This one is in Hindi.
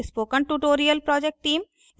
spoken tutorial project team